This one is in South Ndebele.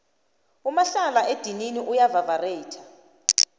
umahla edinini uya vavareyitha